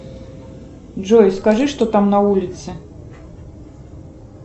джой скажи что там на улице